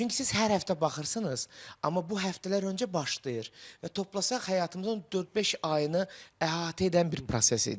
Çünki siz hər həftə baxırsınız, amma bu həftələr öncə başlayır və toplasaq həyatımızın dörd-beş ayını əhatə edən bir proses idi.